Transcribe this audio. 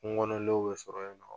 Kungo kɔnɔ lɛw bɛ sɔrɔ ye nɔ.